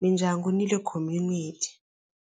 mindyangu ni le community.